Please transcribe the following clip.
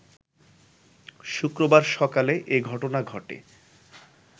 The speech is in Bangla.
শুক্রবার সকালে এ ঘটনা ঘটে